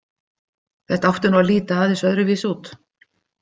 Þetta átti nú að líta aðeins öðruvísi út.